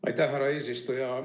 Aitäh, härra eesistuja!